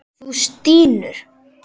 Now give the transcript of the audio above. Þú stynur.